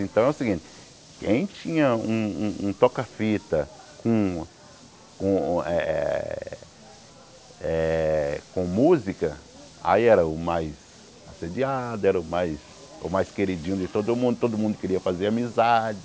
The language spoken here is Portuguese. Então é o seguinte, quem tinha um um um toca-fita com com eh eh eh com música, aí era o mais assediado, era o mais o mais queridinho de todo mundo, todo mundo queria fazer amizade.